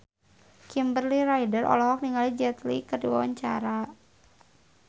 Kimberly Ryder olohok ningali Jet Li keur diwawancara